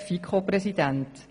FiKo-Präsident.